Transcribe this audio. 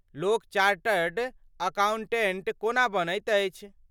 लोक chartered accountant कोना बनैत अछि?